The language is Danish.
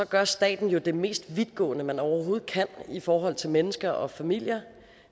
gør staten jo det mest vidtgående man overhovedet kan i forhold til mennesker og familier